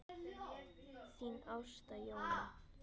Þín Ásta Jóna.